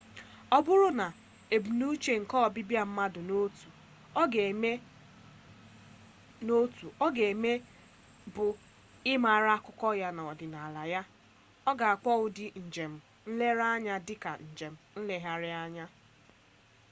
ọ bụrụ na ebumnuche nke ọbịbịa mmadụ na otu ọ ga eme bụ ịmara akụkọ ya na ọdịnala ya a na akpọ ụdị njem nlere anya dị ka njem nlegharị anya